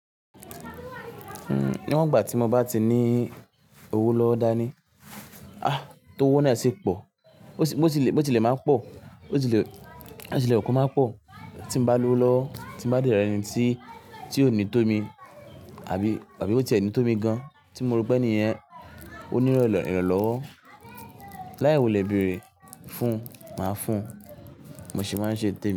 Uhm, níwọ̀n gbà tí mo bá ti ní owó lọwó dá ní, ah tó owó náà ṣi pò, bó ti lè, bó ti lè máa pọ̀, bó ti lè, bó ti lè wun ko máa pọ̀, tí mo bá lo lọwó, tí mo bá de rẹni tí, tí ó ní tó mi, àbí, àbí bió ti ẹ̀ ní tó mi gan, tí mo rò pé ènìyen, ó nílo íran lọ́wọ́, láì wulè bèrè fún, màá fún, bimo se máa n ṣe ntémi.